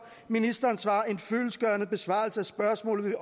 ministeren svarer en fyldestgørende besvarelse af spørgsmålet